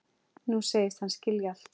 Nú segist hann skilja allt.